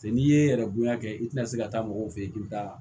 Se n'i ye yɛrɛ bonya kɛ i tɛna se ka taa mɔgɔw fe yen k'i bɛ taa